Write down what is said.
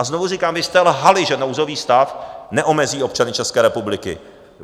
A znovu říkám, vy jste lhali, že nouzový stav neomezí občany České republiky.